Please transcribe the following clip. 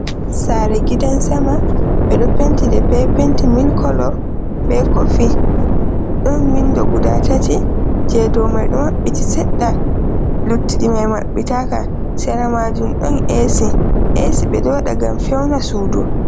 Sare giɗan sama ,ɓe ɗo penti ɗe ɓe penti mil kolo ɓe kofi ɗon winɗo guɗa tati ,je ɗow mai maɓɓiti seɗɗa luttiimai maɓɓitaka sera majum ɗon Ac, Ac ɓe ɗo waɗa gam feuna suɗu.